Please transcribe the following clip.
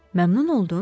Məmnun oldun?